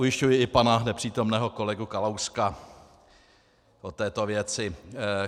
Ujišťuji i pana nepřítomného kolegu Kalouska o této věci.